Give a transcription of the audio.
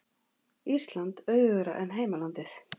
Ísland auðugra en heimalandið